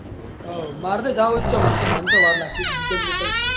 હવ મારે તો જાવું જ છે મન ચો વાર લાગતી જ નહિ